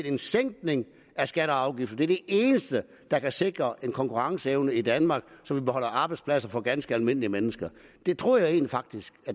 en sænkning af skatter og afgifter det er det eneste der kan sikre en konkurrenceevne i danmark så vi beholder arbejdspladser for ganske almindelige mennesker det troede jeg faktisk